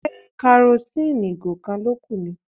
Ṣé karosíìnì ìgò kan ló kù ni?